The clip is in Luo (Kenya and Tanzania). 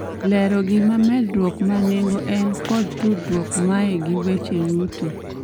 lero gima medruok ma nengo en kod tudruok mae gi weche yuto